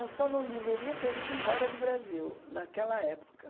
Eu só não deveria ter ido embora do Brasil naquela época.